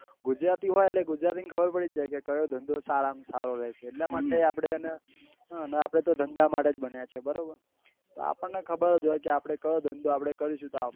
ગુજરાતી હોય એટલે ગુજરાતી ને ખબર પડી જ જાય કે કયો ધંધો સારા માં સારો રેસે એટલા માટે આપડે અને આપડે તો ધંધા માટે જ બન્યા છીએ બરાબર તો આપણને ખબર જ હોય કે કયો ધંધો આપડે કરીશું તો આપડે.